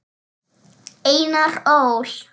Einar Ól.